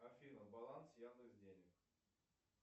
афина баланс яндекс денег